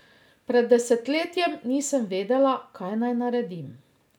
Pred desetletjem nisem vedela, kaj naj naredim.